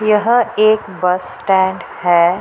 यहाँ एक bus stand है।